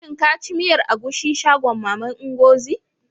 Shin ka ci miyar agushi shagon maman Ngozi?